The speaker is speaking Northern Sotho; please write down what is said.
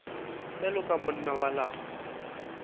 bjalo ka monna wa lapa